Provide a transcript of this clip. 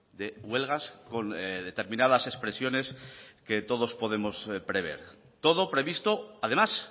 de huelgas con determinadas expresiones que todos podemos prever todo previsto además